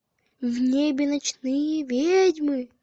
в небе ночные ведьмы